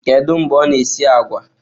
Kedu mgbe ọ na-esi agwa?